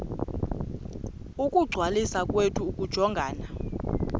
ukungcwaliswa kwethu akujongananga